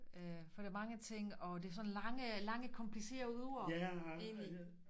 Øh for der mange ting og det er sådan lange lange komplicerede ord egentlig